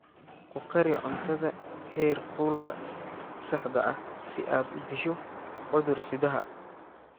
Ku kari cuntada heerkulka saxda ah si aad u disho cudur-sidaha.